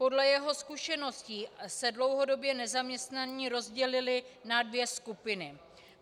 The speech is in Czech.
Podle jeho zkušeností se dlouhodobě nezaměstnaní rozdělili na dvě skupiny.